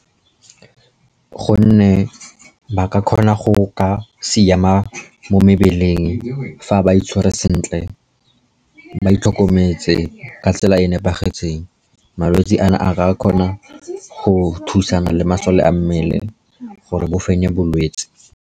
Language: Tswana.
Gonne ba ka kgona go ka siama mo mebeleng fa ba itshwere sentle, ba itlhokometse ka tsela e e nepagetseng. Malwetsi ano a ka kgona go thusana le masole a mmele gore bo fenye bolwetse.